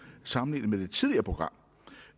sammenlignet med det tidligere program